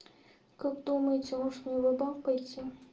как думаете можно его банк пойти